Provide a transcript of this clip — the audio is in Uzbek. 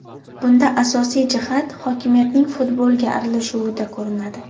Bunda asosiy jihat hokimiyatning futbolga aralashuvida ko‘rinadi.